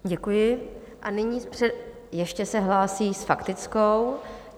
Děkuji a nyní - ještě se hlásí s faktickou.